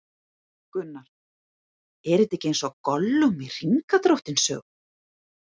Gunnar: Er þetta ekki eins og Gollum í Hringadróttinssögu?